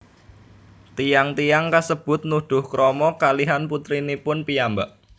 Tiyang tiyang kasebut nuduh krama kalihan putrinipun piyambak